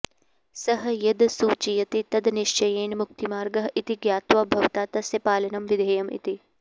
सः यद् सूचयति तद् निश्चयेन मुक्तिमार्गः इति ज्ञात्वा भवता तस्य पालनं विधेयम् इति